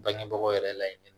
Bangebagaw yɛrɛ laɲini